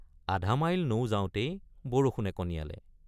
আধা মাইল নৌযাওঁতেই বৰষুণে কণিয়ালে।